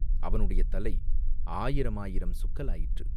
அவனுடைய தலை ஆயிரமாயிரம் சுக்கலாயிற்று.